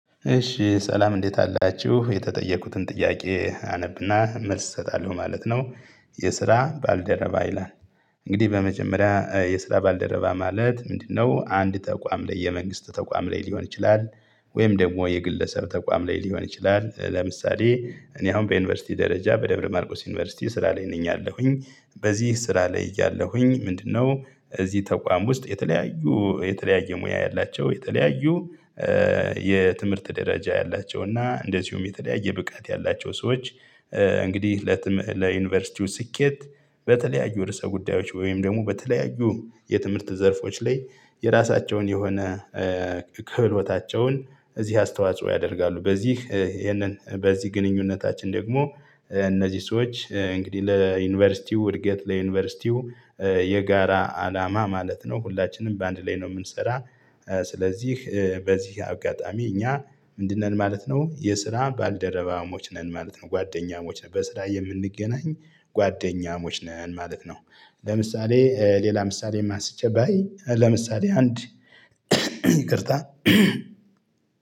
እሺ ሰላም እንዴት አላችሁ የተጠየቁትን ጥያቄ አነብና መልስ እሰጣለሁ ማለት ነው። የስራ ባልደረባ ይላል። እንግዲህ በመጀመሪያ የስራ ባልደረባ ማለት ምንድነው? አንድ ተቋም ላይ የመንግስት ተቋም ላይ ሊሆን ይችላል። ወይም ደግሞ የግለሰብ ተቋም ላይ ሊሆን ይችላል። ለምሳሌ እኔ አሁን በዩኒቨርሲቲ ደረጃ በደብረ ማርቆስ ዩኒቨርሲቲ ስራ ላይ ነኝ አለሁኝ በዚህ ስራ ላይ እያለሁኝ ምንድነው? እዚህ ተቋም ውስጥ የተለያዩ የተለያየ ሙያ ያላቸው የተለያዩ የትምህርት ደረጃ ያላቸው እና እንደዚሁም የተለያየ ብቃት ያላቸው ሰዎች። እንግዲህ ለዩኒቨርሲቲው ስኬት በተለያዩ ርዕሰ ጉዳዮች ወይም ደግሞ በተለያዩ የትምህርት ዘርፎች ላይ የራሳቸውን የሆነ ክህሎታቸውን እዚህ አስተዋጽኦ ያደርጋሉ። በዚህ ይሄንን በዚህ ግንኙነታችን ደግሞ እነዚህ ሰዎች እንግዲህ ለዩኒቨርሲቲው እድገት ለዩኒቨርሲቲው የጋራ አላማ ማለት ነው ሁላችንም በአንድ ላይ ነው የምንሰራ። ስለዚህ በዚህ አጋጣሚ እኛ ምንድነን ማለት ነው የስራ ባልደረባሞች ነን ማለት ነው። ጓደኛሞች ነን በስራ የምንገናኝ ጓደኛሞች ነን ማለት ነው። ለምሳሌ ሌላ ምሳሌ አንስቼ ባይ ለምሳሌ አንድ ይቅርታ